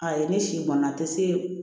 A ye ne si bɔnna a te se